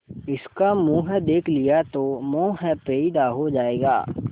इसका मुंह देख लिया तो मोह पैदा हो जाएगा